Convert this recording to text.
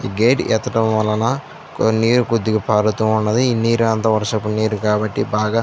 gate ఎత్తడం వలన కో నీరు కొద్దిగా పారుతున్నాయి ఈ నీరంతా వర్షపు నీరు కాబట్టి బాగా --